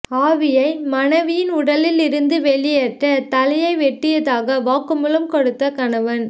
ஆவியை மனைவியின் உடலில் இருந்து வெளியேற்ற தலையை வெட்டியதாக வாக்குமூலம் கொடுத்த கணவன்